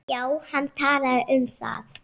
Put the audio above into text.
Já, hann talaði um það.